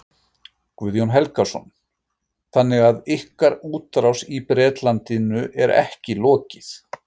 Guðjón Helgason: Þannig að ykkar útrás í Bretlandi er ekki lokið?